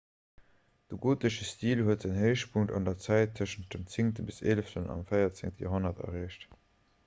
de gotesche stil huet säin héichpunkt an der zäit tëschent dem 10 bis 11 an dem 14 joerhonnert erreecht